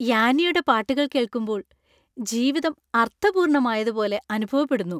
യാന്നിയുടെ പാട്ടുകൾ കേൾക്കുമ്പോൾ ജീവിതം അർത്ഥപൂർണമായതുപോലെ അനുഭവപ്പെടുന്നു.